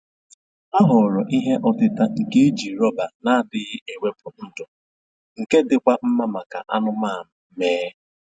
Ha họọrọ ihe ọtịta nke e ji rọba na-adịghị ewepụ ndụ, nke dịkwa mma maka anụmanụ mee